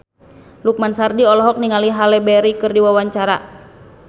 Lukman Sardi olohok ningali Halle Berry keur diwawancara